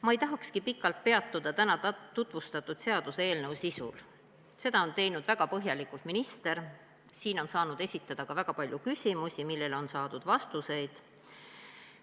Ma ei tahakski pikalt peatuda täna tutvustatud seaduseelnõu sisul, seda on teinud väga põhjalikult minister ja siin on saanud esitada ka väga palju küsimusi, millele on saadud vastuseid.